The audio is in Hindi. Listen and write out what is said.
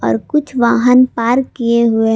और कुछ वाहन पार्क किए हुए--